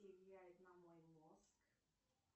влияет на мой мозг